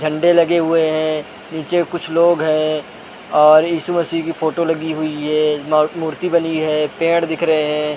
झंडे लगे हुए है नीचे कुछ लोग है और ईस मसीह की फोटो लगी हुई है मर मूर्ति बनी है पेड़ दिख रहे है।